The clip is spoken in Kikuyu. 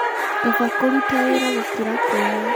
Kaba kũruta wĩra gũkĩra kũiya.